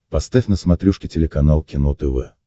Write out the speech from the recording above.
поставь на смотрешке телеканал кино тв